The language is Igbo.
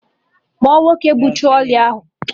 Kpọọ nwoke bụ trọlị ahụ!